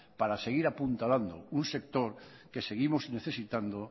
para seguir apuntalando un sector que seguimos necesitando